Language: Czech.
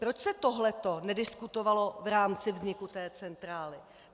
Proč se tohleto nediskutovalo v rámci vzniku té centrály?